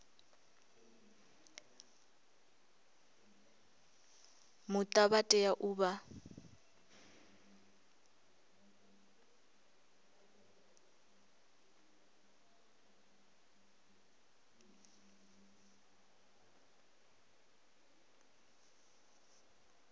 muta vha tea u vha